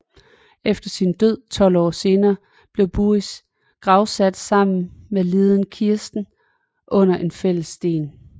Efter sin død 12 år senere blev Buris gravsat sammen med liden Kirsten under en fælles sten